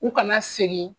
U kana segin